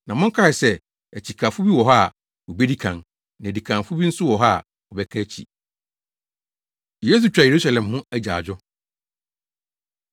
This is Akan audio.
Na monkae sɛ akyikafo bi wɔ hɔ a, wobedi kan, na adikanfo bi nso wɔ hɔ a, wɔbɛka akyi.” Yesu Twa Yerusalem Ho Agyaadwo